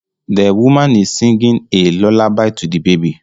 The woman is singing a lullaby to the baby